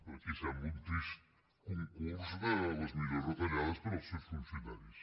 aquí sembla un trist concurs de les millors retallades per als seus funcionaris